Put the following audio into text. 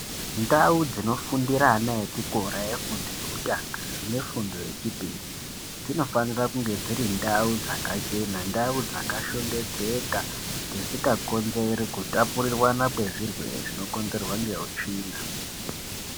Ndau dzinofundira ana echikora efundo yekutanga nefundo yechipiri dzinofanira kunge dziri ndau chakachena, ndau dzakashongedzeka, dzisingakonzeri kutapurirwana kwezvirwere zvinokonzerwa ngeutsvina.